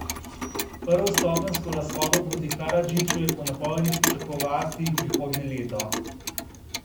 Prvostopenjsko razsodbo proti Karadžiću je po napovedih pričakovati prihodnje leto.